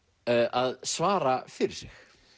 að svara fyrir sig